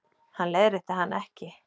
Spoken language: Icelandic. Hann leiðrétti hana ekki.